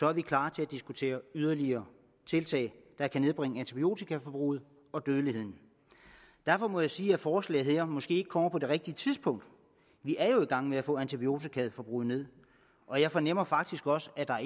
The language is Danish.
er vi klar til at diskutere yderligere tiltag der kan nedbringe antibiotikaforbruget og dødeligheden derfor må jeg sige at forslaget her måske ikke kommer på det rigtige tidspunkt vi er jo i gang med at få antibiotikaforbruget ned og jeg fornemmer faktisk også at der er